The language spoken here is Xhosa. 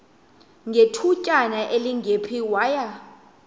ngethutyana elingephi waya